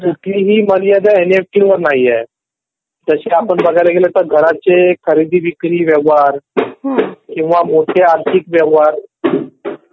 तर कुठलीही मर्यादा एनईएफटी वर नाही आहे. जशी आपण बघायला गेला तर घराचे खरेदी विक्री व्यवहार किंवा मोठे आर्थिक व्यवहार.